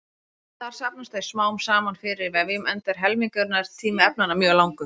Þar safnast þau smám saman fyrir í vefjum enda er helmingunartími efnanna mjög langur.